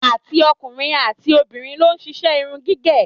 Àti ọkùnrin àti obìnrin ló ń ṣiṣẹ́ irun gígẹ̀